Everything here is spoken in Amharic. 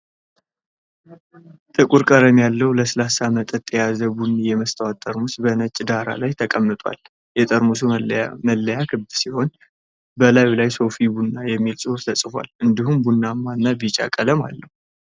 ጥቁር ቀለም ያለው ለስላሳ መጠጥ የያዘ ቡኒ የመስታወት ጠርሙስ በነጭ ዳራ ላይ ተቀምጧል። የጠርሙሱ መለያ ክብ ሲሆን፣ በላዩ ላይ "SOFI BUNNA" የሚል ጽሑፍ ተጽፏል፤ እንዲሁም ቡናማ እና ቢጫ ቀለም አለው፡፡